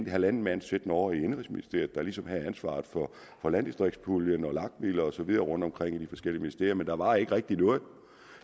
halvanden mand siddende ovre i indenrigsministeriet der ligesom havde ansvaret for landdistriktspuljen og lag midlerne og så videre rundtomkring i de forskellige ministerier men der var ikke rigtig noget